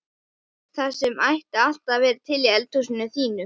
Það sem ætti alltaf að vera til í eldhúsinu þínu!